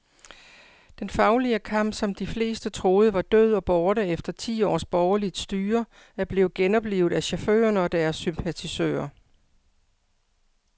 Den faglige kamp, som de fleste troede var død og borte efter ti års borgerligt styre, er blevet genoplivet af chaufførerne og deres sympatisører.